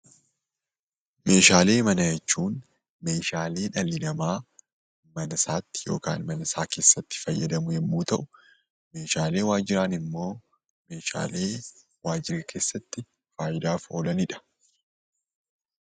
Meeshaalee manaa jechuun meeshaalee dhalli namaa mana isaa keessatti fayyadamu yommuu ta'u, meeshaalee waajjiraa immoo meeshaalee waajjira keessatti faayidaaf oolanidha.